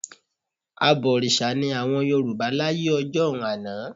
Abọ̀rìṣà ni àwọn Yorùbá láyé ọjọ́un àná